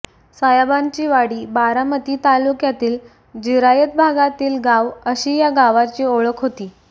सायांबाची वाडी बारामती तालुक्यातील जिरायत भागातील गाव अशी या गावची ओळख होती